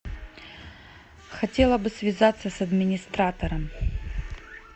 хотела бы связаться с администратором